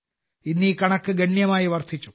ഇന്ന് ഈ കണക്ക് ഗണ്യമായി വർദ്ധിച്ചു